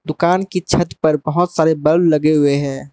कान की छत पर बहुत सारे बल्ब लगे हुए हैं।